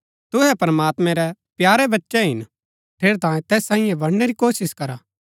तुहै प्रमात्मैं रै प्यारे बच्चै हिन ठेरैतांये तैस सांईये बनणै री कोशिश करा